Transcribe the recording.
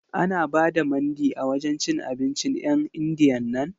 Ana ba da Mandi a wajen cin abincin 'yan Indiyan nan?